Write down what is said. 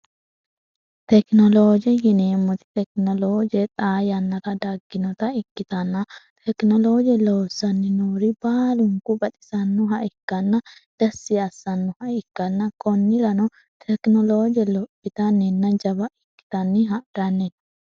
tekinolooje yineemmoti tekinolooje xaa yannara dagginota ikkitanna tekinolooje loossanni noori baalunku baxisannoha ikkanna dessi assannoha ikkanna konnirano tekinolooje lophitanninna jaba ikkitanni harannino